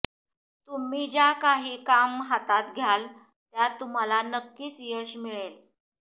तुम्ही ज्या काही काम हातात घ्याल त्यात तुम्हाला नक्कीच यश मिळेल